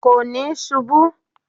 Kò níí ṣubú